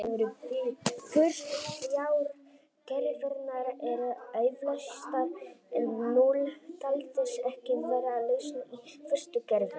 Fyrstu þrjár gerðirnar eru auðleystar en núll taldist ekki vera lausn í fyrstu gerðinni.